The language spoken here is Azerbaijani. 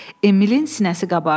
Emilin sinəsi qabardı.